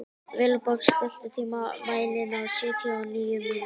Vilborg, stilltu tímamælinn á sjötíu og níu mínútur.